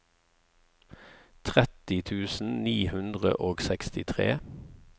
tretti tusen ni hundre og sekstitre